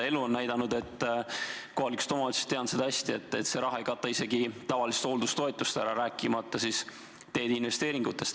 Elu on näidanud – kohalikust omavalitsusest tean seda hästi –, et see raha ei kata isegi tavalist hooldustoetust, rääkimata teede investeeringutest.